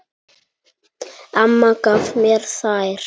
Amma gaf mér þær.